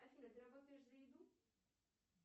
афина ты работаешь за еду